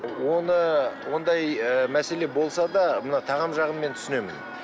оны ондай ы мәселе болса да мына тағам жағын мен түсінемін